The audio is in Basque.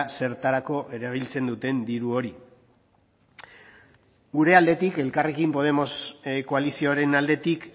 zertarako erabiltzen duten diru hori gure aldetik elkarrekin podemos koalizioaren aldetik